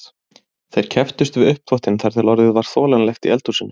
Þeir kepptust við uppþvottinn þar til orðið var þolanlegt í eldhúsinu.